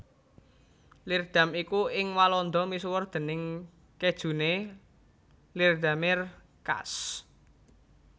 Leerdam iku ing Walanda misuwur déning kéjuné Leerdammer kaas